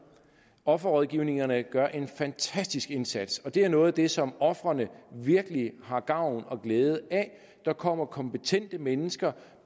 offerrådgivningerne gør en fantastisk indsats og det er noget af det som ofrene virkelig har gavn og glæde af der kommer kompetente mennesker